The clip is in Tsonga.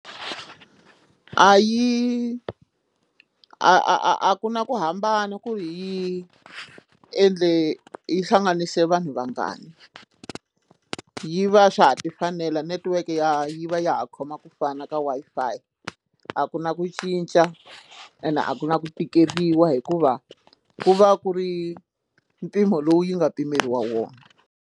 A yi a a a a ku na ku hambana ku yi endle yi hlanganise vanhu vangani yi va swa ha ti fanela network ya yi va ya ha khoma ku fana ka Wi-Fi a ku na ku cinca ene a ku na ku tikeriwa hikuva ku va ku ri mpimo lowu yi nga pimeriwa wona.